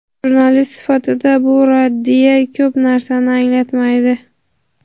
Jurnalist sifatida bu raddiya ko‘p narsani anglatmaydi.